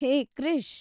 ಹೇ Krish!